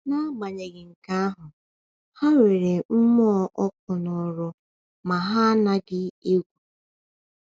“N’agbanyeghị nke ahụ, ha nwere mmụọ ọkụ n’ọrụ ma ha anaghị egwu.”